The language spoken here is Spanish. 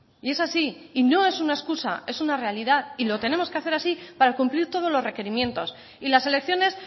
y es así no es una excusa es una realidad y lo tenemos que hacer así para cumplir todos los requerimientos y las elecciones